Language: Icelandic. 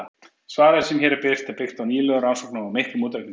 Svarið sem hér er birt er byggt á nýlegum rannsóknum og miklum útreikningum.